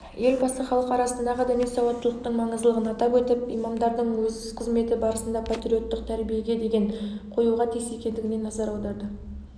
елбасы халық арасындағы діни сауаттылықтың маңыздылығын атап өтіп имамдардың өз қызметі барысында патриоттық тәрбиеге ден қоюға тиіс екендігіне назар аударды